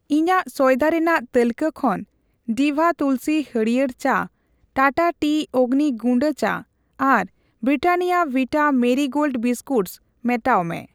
ᱤᱧᱟᱜ ᱥᱚᱭᱫᱟ ᱨᱮᱱᱟᱜ ᱛᱟᱹᱞᱠᱟᱹ ᱠᱷᱚᱱ ᱰᱤᱵᱷᱟ ᱛᱩᱞᱥᱤ ᱦᱟᱹᱲᱭᱟᱹᱨ ᱪᱟ, ᱴᱟᱴᱟ ᱴᱤ ᱚᱜᱱᱤ ᱜᱩᱰᱟᱹ ᱪᱟ ᱟᱨ ᱵᱨᱤᱴᱟᱱᱱᱤᱭᱟ ᱵᱷᱤᱴᱟ ᱢᱮᱨᱤ ᱜᱳᱞᱰ ᱵᱤᱥᱠᱩᱴᱥ ᱢᱮᱴᱟᱣ ᱢᱮ ᱾